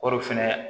O de fɛnɛ